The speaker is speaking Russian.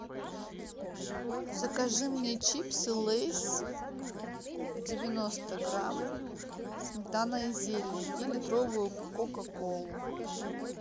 закажи мне чипсы лейс девяносто грамм сметана и зелень и литровую кока колу